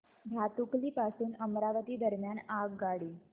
भातुकली पासून अमरावती दरम्यान आगगाडी